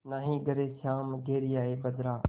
नाहीं घरे श्याम घेरि आये बदरा